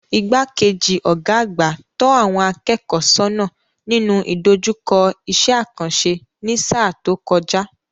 Igbá-kejì Ọ̀gá àgbà tọ́ àwọn akẹ́kọ̀ọ́ sónà nínú ìdojúkọ iṣẹ́ àkànṣe ní sáà tó kojay